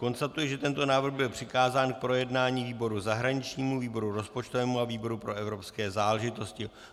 Konstatuji, že tento návrh byl přikázán k projednání výboru zahraničnímu, výboru rozpočtovému a výboru pro evropské záležitosti.